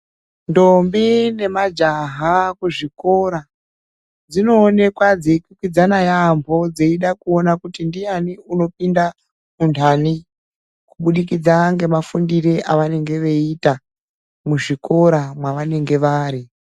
Ntombi nemajaha kuzvikora dzinoonekwa dzikwikwidzana yamho dzeida kuona kuti ndian unopinda antani kubudikidza nemafundiro avanenge veiita muzvikora mwevanenge vari.